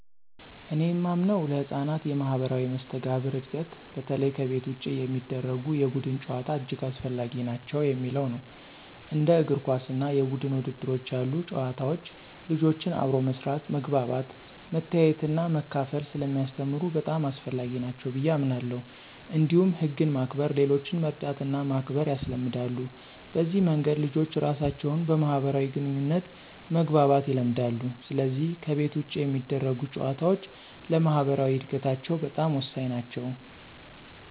እኔ የማምነው ለሕፃናት የማኅበራዊ መስተጋብር እድገት በተለይ ከቤት ውጭ የሚደረጉ የቡድን ጨዋታዎች እጅግ አስፈላጊ ናቸው የሚለው ነው። እንደ እግር ኳስ እና የቡድን ውድድሮች ያሉ ጨዋታዎች ልጆችን አብሮ መስራት፣ መግባባት፣ መተያየትና መካፈል ስለሚያስተምሩ በጣም አስፈላጊ ናቸው ብየ አምናለሁ። እንዲሁም ህግን ማክበር፣ ሌሎችን መርዳትና ማክበር ያስለምዳሉ። በዚህ መንገድ ልጆች ራሳቸውን በማህበራዊ ግንኙነት መግባባት ይለምዳሉ፣ ስለዚህ ከቤት ውጭ የሚደረጉ ጨዋታዎች ለማኅበራዊ እድገታቸው በጣም ወሳኝ ናቸው።